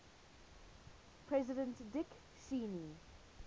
president dick cheney